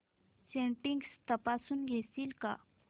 settings तपासून घेशील का